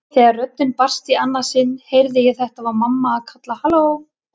Þegar röddin barst í annað sinn heyrði ég að þetta var mamma að kalla halló.